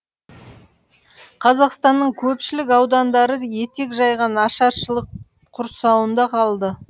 қазақстанның көпшілік аудандары етек жайған ашаршылық құрсауында қалды